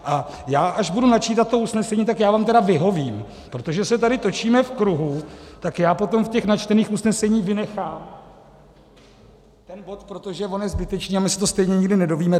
A já až budu načítat to usnesení, tak já vám tedy vyhovím, protože se tady točíme v kruhu, tak já potom v těch načtených usneseních vynechám ten bod, protože on je zbytečný a my se to stejně nikdy nedozvíme.